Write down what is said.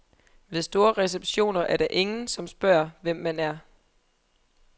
Ved store receptioner er der ingen, som spørger, hvem man er.